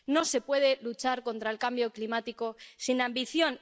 No se puede luchar contra el cambio climático sin ambición.